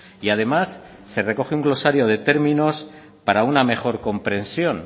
y además se recoge un glosario de términos para una mejor comprensión